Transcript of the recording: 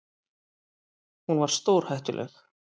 Hún var stórhættuleg.